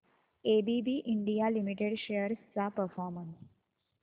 ABB India limited shares चा performance